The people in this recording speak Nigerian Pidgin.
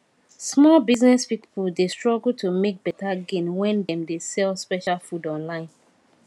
small business people dey struggle to make better gain when dem dey sell special food online